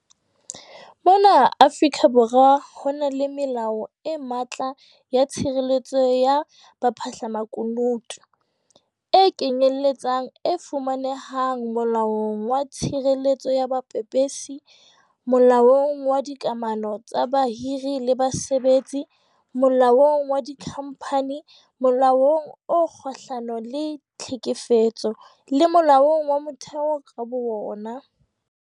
Mona Afrika Borwa ho na le melao e matla ya tshireletso ya baphahlamakunutu, e kenyeletsang e fumanehang Molaong wa Tshireletso ya Bapepesi, Molaong wa Dika mano tsa Bahiri le Basebetsi, Molaong wa Dikhamphani, Molaong o Kgahlano le Tlhekefetso, le Molaong wa Motheo ka bowona.